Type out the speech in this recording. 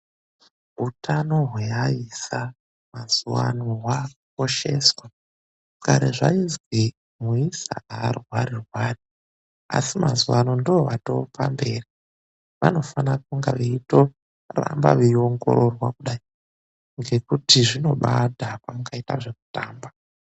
Hutano hweaisa mazuva ano hwakukosheswa kare zvaizwi muisa arwari rwari asi mazuva ano ndoatopamberi vanofana kuramba veiongororwa ngekuti zvinodhakwa mukaita zvekutamba.